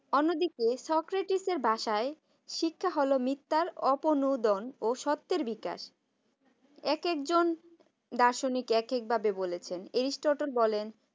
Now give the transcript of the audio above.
অন্যদিকে সোক্রেটিস এর ভাষায় শিক্ষার হলো মিথ্যার অপেনুদন ও সত্যের বিকাশ একেক জন দার্শনিক এক এক ভাবে বলেছেন অ্যায়রিস্টল বলেন